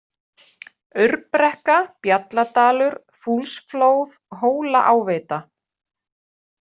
Aurbrekka, Bjalladalur, Fúlsflóð, Hólaáveita